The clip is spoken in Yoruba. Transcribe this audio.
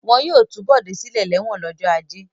Wọn yóò tú Bọ̀dé sílẹ̀ lẹ́wọ̀n lọ́jọ́ ajé.